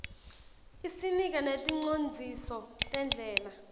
isinika neticondziso tendlela